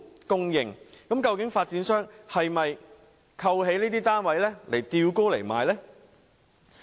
究竟發展商是否扣起這些單位，待價而沽？